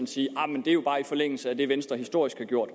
sige ahr men det er jo bare i forlængelse af det venstre historisk har gjort